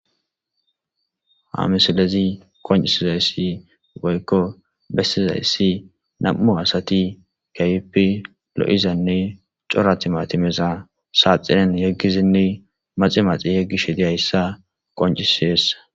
Ha missilezi qonc'isizaysi woyko besizaysi nam'u asati kehipe lo'izane c'ora timatimeza saxinen yegizinne maxi maxi yegishe diyaysa qonc'ses.